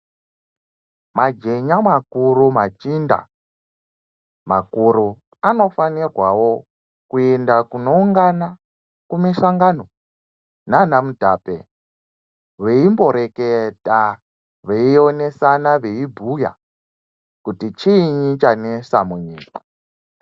Majenya makuru, machinda makuru, anofanirwawo kuenda kunoungana kumisangano nana mutape veimboreketa, veionesana, veibhuya kuti chiinyi chanesa munyika.